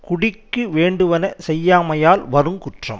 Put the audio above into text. குடிக்கு வேண்டுவன செய்யாமையால் வருங்குற்றம்